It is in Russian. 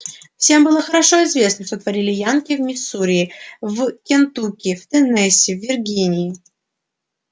всем было хорошо известно что творили янки в миссури в кентукки в теннесси в виргинии